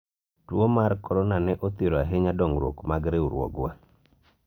tuo mar korona ne othiro ahinya dongruok mag riwruogwa